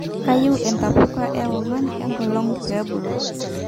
Keyieu intapuka ewangan enkolong pebulu